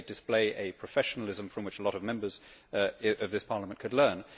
They display a professionalism from which a lot of Members of this Parliament could learn.